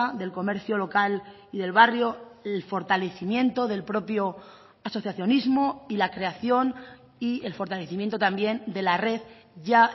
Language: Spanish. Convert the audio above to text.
del comercio local y del barrio el fortalecimiento del propio asociacionismo y la creación y el fortalecimiento también de la red ya